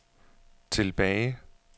tilbage